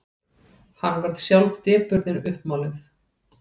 Hann varð sjálf depurðin uppmáluð.